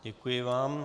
Děkuji vám.